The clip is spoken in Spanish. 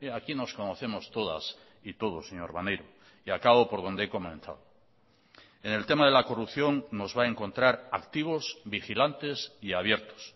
aquí nos conocemos todas y todos señor maneiro y acabo por donde he comenzado en el tema de la corrupción nos va a encontrar activos vigilantes y abiertos